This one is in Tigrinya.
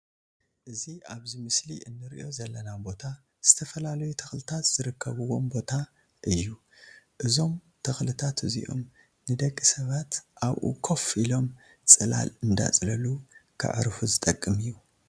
እዚ ኣብዚ ምስሊ እንርእዮ ዘለና ቦታ ዝተፈላለዩ ተክልታት ዝርከብዎም ቦታ እዩ። እዞም ተክልታት እዚኦም ንደቂ ሰባት ኣብኡ ኮፍ አሎም ፅላል እንዳፅለሉ ከዕርፉ ዝጠቅም እዩ።